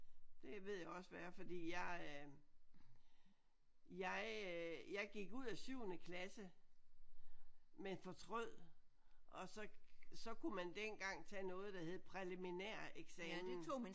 Det ved jeg også hvad er fordi jeg øh jeg øh jeg gik ud af syvende klasse men fortrød og så så kunne man dengang tage noget der hed præliminæreksamen